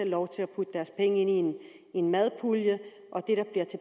lov til at putte deres penge i en en madpulje